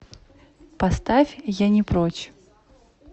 поставь я не прочь